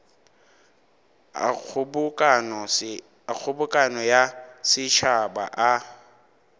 a kgobokano ya setšhaba a